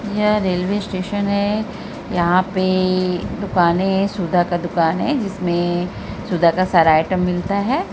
यह railway station है यहां पे दुकाने है| सुधा का दुकान है जिसमें सुधा का सारा आइटम मिलता है।